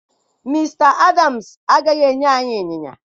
Mr Adams agaghị enye anyị ịnyịnya